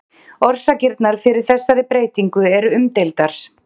orsakirnar fyrir þessari breytingu eru umdeildar